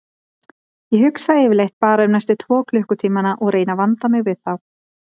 Ég hugsa yfirleitt bara um næstu tvo klukkutímana og reyni að vanda mig við þá.